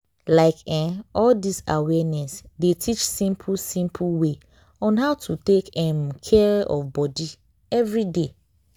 like eh all dis awareness dey teach simple simple way on how to take um care of body everyday.